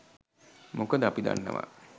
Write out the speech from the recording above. මොකද අපි දන්නවා